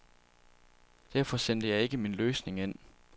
Derfor sendte jeg ikke min løsning ind.